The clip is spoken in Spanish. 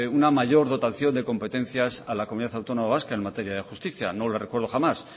una mayor dotación de competencias a la comunidad autónoma vasca en materia de justicia no le recuerdo jamás